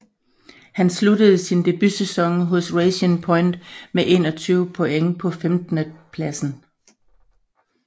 Han sluttede sin debutsæson hos Racing Point med 21 point på femtendepladsen